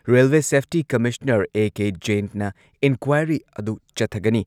Railway safety commissioner A. ꯖ꯭ꯌꯦꯟꯅ inquiry ꯑꯗꯨ ꯆꯠꯊꯒꯅꯤ